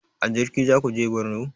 A jirgi zaku je borno?